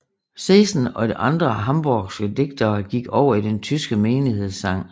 Zesen og andre hamborgske digtere gik over i den tyske menighedssang